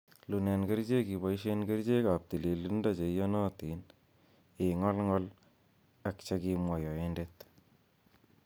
Iunen kerichek iboishen kerichek ab tililindo cheiyonotin, ing'olng'ol ak chekimwa yoendet.